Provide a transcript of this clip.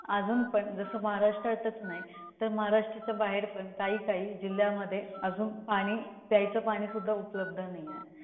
नाही अजून पण अजून पण जस महाराष्ट्रातच नाही, तर महाराष्ट्राच्या बाहेर पण काही काही जिल्ह्यामध्ये अजून पाणी, प्यायचं पाणी उपलब्ध नाहीये.